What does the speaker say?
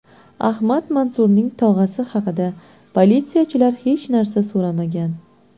Ahmad Mansurning tog‘asi haqida politsiyachilar hech narsa so‘ramagan.